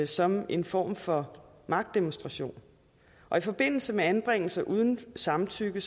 som en form for magtdemonstration og i forbindelse med anbringelse uden samtykke